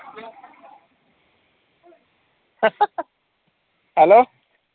hello